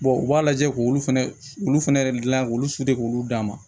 u b'a lajɛ k'olu fɛnɛ olu fɛnɛ gilan k'olu k'olu d'a ma